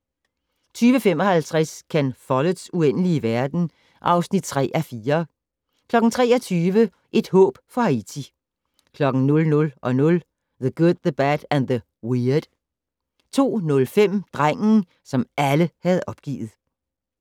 20:55: Ken Folletts Uendelige verden (3:4) 23:00: Et håb for Haiti 00:00: The Good, The Bad, and The Weird 02:05: Drengen, som alle havde opgivet